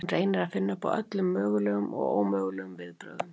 Hún reynir að finna upp á öllum mögulegum og ómögulegum viðbrögðum.